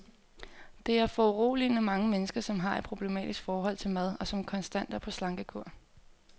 Der er foruroligende mange mennesker, som har et problematisk forhold til mad, og som konstant er på slankekur.